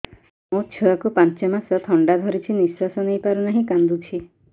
ମୋ ଛୁଆକୁ ପାଞ୍ଚ ମାସ ଥଣ୍ଡା ଧରିଛି ନିଶ୍ୱାସ ନେଇ ପାରୁ ନାହିଁ କାଂଦୁଛି